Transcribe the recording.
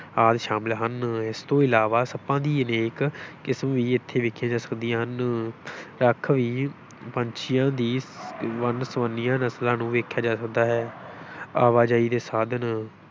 ਆਦਿ ਸ਼ਾਮਿਲ ਹਨ, ਇਸ ਤੋਂ ਇਲਾਵਾ ਸੱਪਾਂ ਦੀਆਂ ਅਨੇਕ ਕਿਸਮ ਵੀ ਇੱਥੇ ਵੇਖੀਆਂ ਜਾ ਸਕਦੀਆਂ ਹਨ ਰੱਖ ਵੀ ਪੰਛੀਆਂ ਦੀ ਵੰਨਸੁਵੰਨੀਆਂ ਨਸਲਾਂ ਨੂੰ ਵੀ ਵੇਖਿਆ ਜਾ ਸਕਦਾ ਹੈ ਆਵਾਜਾਈ ਦੇ ਸਾਧਨ,